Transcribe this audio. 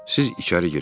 Siz içəri girin.